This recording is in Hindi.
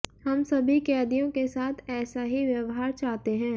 हम सभी कैदियों के साथ ऐसा ही व्यव्हार चाहते हैं